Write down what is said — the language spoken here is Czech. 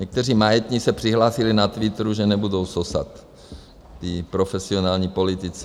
Někteří majetní se přihlásili na Twitteru, že nebudou sosat, ti profesionální politici.